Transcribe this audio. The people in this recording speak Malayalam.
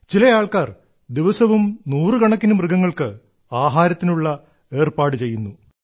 ചില ആൾക്കാർ ദിവസവും നൂറുകണക്കിന് മൃഗങ്ങൾക്ക് ആഹാരത്തിനുള്ള ഏർപ്പാടു ചെയ്യുന്നു